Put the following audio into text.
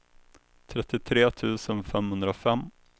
trettiotre tusen femhundrafem